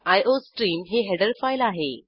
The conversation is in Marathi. आयोस्ट्रीम ही हेडर फाईल आहे